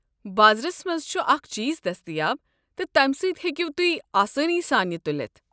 بازرس منٛز چھ اکھ چیٖز دٔستیاب، تہٕ تمہِ سٕتۍ ہیٚکِو تُہۍآسٲنی سان یہِ تُلِتھ۔